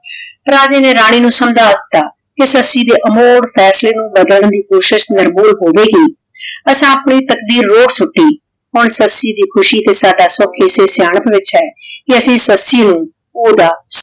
ਰਾਜੇ ਨੇ ਰਾਨੀ ਨੂ ਸਮਝਾ ਦਿਤਾ ਕੇ ਸੱਸੀ ਦੇ ਅਹੋਰ ਫੈਸਲੇ ਨੂ ਬਾਦਲਾਂ ਦੀ ਕੋਸ਼ਿਸ਼ ਨਿਰ੍ਬੋਉਰ ਹੋਵੇ ਗੀ ਅਸਾਂ ਆਪਣੀ ਤਾਕ਼ਦੀਰ ਰੋਢ਼ ਸੁਤੀ ਹਨ ਸੱਸੀ ਦੀ ਖੁਸ਼ੀ ਤੇ ਸਦਾ ਸੁਖ ਏਸੇ ਸਿਯਾਨਾਖ ਵਿਚ ਹੈ ਕੇ ਅਸੀਂ ਸੱਸੀ ਨੂ ਓਦਾ